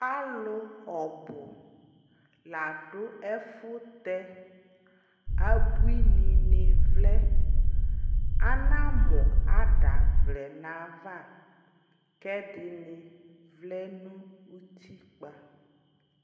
Alʋ ɔbʋ la dʋ ɛfʋtɛ abuinɩnɩ vlɛ, anamʋ ada vlɛ nʋ ayava, kʋ ɛdɩnɩ vlɛ nʋ utikpǝ